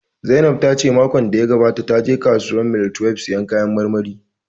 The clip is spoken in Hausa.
Zainab ta ce makon da ya gabata ta je kasuwar mile twelbe sayan kayan marmari